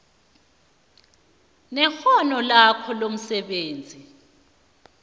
nekghono lakhe lomsebenzi